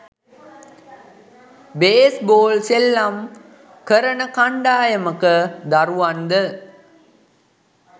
base ball සෙල්ලම් කරන කණ්ඩායමක දරුවන්ද